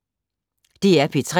DR P3